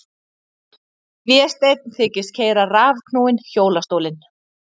Vésteinn þykist keyra rafknúinn hjólastólinn.